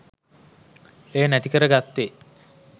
එය නැතිකර ගත්තේ